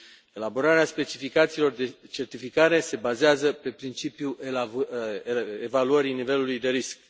Elaborarea specificațiilor de certificare se bazează pe principiul evaluării nivelului de risc.